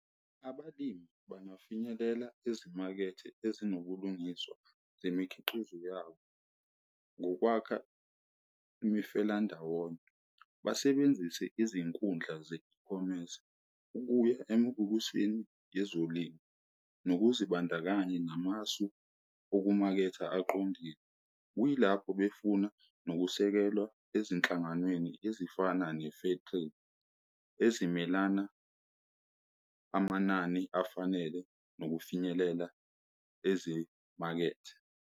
Abalimi bangafinyelela ezimakethe ezinobulungiswa zemikhiqizo yabo ngokwakha imifela ndawonye, basebenzise izinkundla ze-deplomate ukuya emubukisweni yezolimo, nokuzibandakanya namasu okumaketha aqondile. Kuyilapho befuna nokusekelwa ezinhlanganweni ezifana ne fertile ezimelana amanani afanele nokufinyelela ezimakethe.